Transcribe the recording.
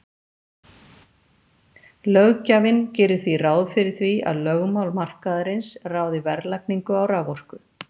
Löggjafinn gerir því ráð fyrir því að lögmál markaðarins ráði verðlagningu á raforku.